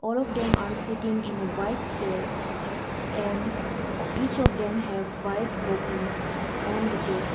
All of them are sitting in a white chair and each of them have white copy on the table.